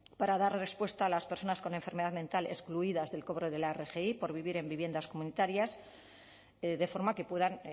para dar respuesta a las personas con enfermedad mental excluidas del cobro de la rgi por vivir en viviendas comunitarias de forma que puedan